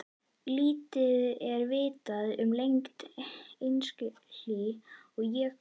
Lítið er vitað um lengd einstakra hlý- og jökulskeiða.